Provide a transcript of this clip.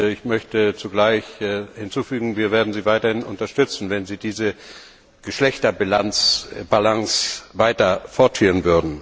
Ich möchte zugleich hinzufügen Wir werden Sie weiterhin unterstützen, wenn Sie diese Geschlechterbalance weiter fortführen.